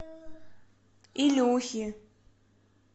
илюхи